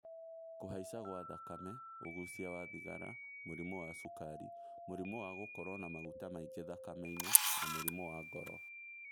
Kũhaica gwa thakame, ũgucia wa thigara, mũrimũ wa cukari, mũrimu wa gũkorwo na maguta maingĩ thakame-inĩ na mũrimũ wa ngoro